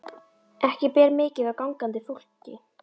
Ekki ber mikið á gangandi fólki.